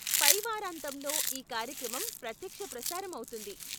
పై వారాంతంలో ఈ కార్యక్రమం ప్రత్యక్ష ప్రసారం అవుతుంది.